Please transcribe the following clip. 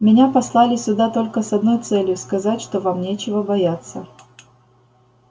меня послали сюда только с одной целью сказать что вам нечего бояться